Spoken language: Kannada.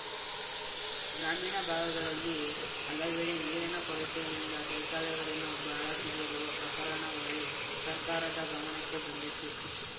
ಗ್ರಾಮೀಣ ಭಾಗಗಳಲ್ಲಿ ಹಲವೆಡೆ ನೀರಿನ ಕೊರತೆಯಿಂದ ಶೌಚಾಲಯಗಳನ್ನು ಬಳಸದಿರುವ ಪ್ರಕರಣಗಳು ಸರ್ಕಾರದ ಗಮನಕ್ಕೆ ಬಂದಿದ್ದು